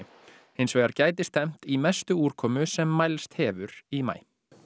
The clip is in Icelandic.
hins vegar í mestu úrkomu sem mælst hefur í maí